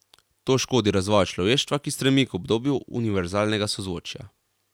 To škodi razvoju človeštva, ki stremi k obdobju univerzalnega sozvočja.